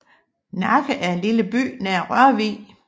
Nakke er en lille by nær Rørvig